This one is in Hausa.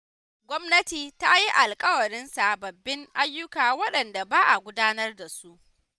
Gwamnati ta yi alƙawarin sababbin ayyuka waɗanda ba a gudanar da su.